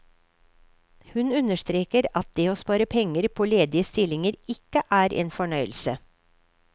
Hun understreker at det å spare penger på ledige stillinger, ikke er en fornøyelse.